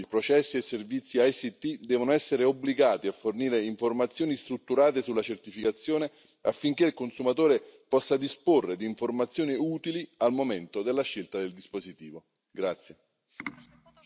I produttori o fornitori di prodotti, processi e servizi TIC devono essere obbligati a fornire informazioni strutturate sulla certificazione affinché il consumatore possa disporre di informazioni utili al momento della scelta del dispositivo.